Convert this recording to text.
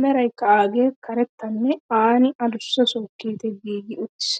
meraykka agee karettanne anni adussa sookeetee giigii uttiis.